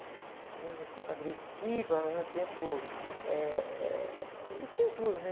Ao mesmo tempo agressiva, ao mesmo tempo, eh, eh... Eles tinham tudo, né?